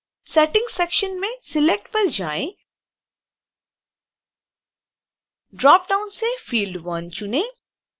settings section में select पर जाएँ ड्रॉपडाउन से field 1 चुनें